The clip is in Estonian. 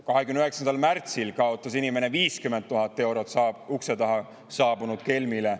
29. märtsil kaotas inimene 50 000 eurot ukse taha saabunud kelmile.